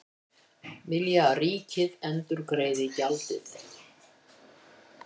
Vilja að ríkið endurgreiði gjaldið